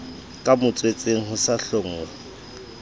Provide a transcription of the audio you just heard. ka motswetseng ho sa hlonngwe